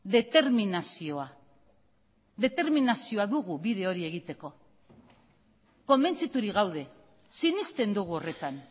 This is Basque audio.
determinazioa determinazioa dugu bide hori egiteko konbentziturik gaude sinesten dugu horretan